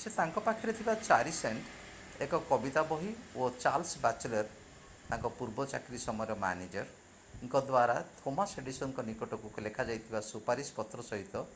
ସେ ତାଙ୍କ ପାଖରେ ଥିବା 4 ସେଣ୍ଟ୍‌ ଏକ କବିତା ବହି ଓ ଚାର୍ଲ୍ସ ବାଚେଲର୍ ତାଙ୍କ ପୂର୍ବ ଚାକିରୀ ସମୟର ମ୍ୟାନେଜର୍ଙ୍କ ଦ୍ୱାରା ଥୋମାସ୍ ଏଡିସନ୍‌ଙ୍କ ନିକଟକୁ ଲେଖାଯାଇଥିବା ସୁପାରିଶ ପତ୍ର ସହିତ